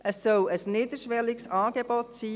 Es soll ein niederschwelliges Angebot sein.